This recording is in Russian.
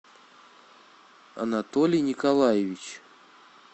анатолий николаевич